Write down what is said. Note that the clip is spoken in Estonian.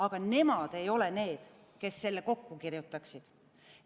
Aga nemad ei ole need, kes selle kokku kirjutaksid.